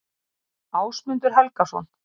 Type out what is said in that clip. Ásmundur Helgason.